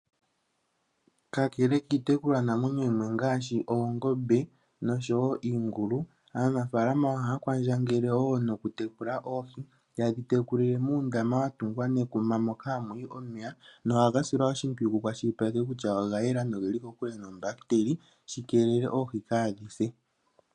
Kakele kiitekulwanamwenyo yimwe ngaashi oongombe noshowo iingulu aanafalama ohaya kwandjangele wo nokutekula oohi taye dhi tekulile muundama mboka wa tungwa nekuma moka ha muyi omeya nohaka silwa oshimpwiyu ku kwashilipalekwe kutya oga yela noge li kokule noombahiteli shi keelele oohi kaadhi se.